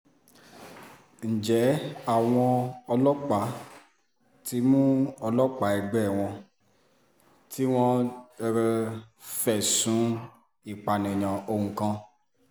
ǹjẹ́ àwọn ọlọ́pàá ti mú ọlọ́pàá ẹgbẹ́ wọn tí wọ́n fẹ̀sùn ìpànìyàn ohun kan